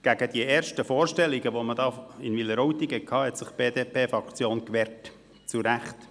Gegen die ersten Vorstellungen, die man für Wileroltigen hatte, hat sich die BDP-Fraktion gewehrt, und das zu Recht.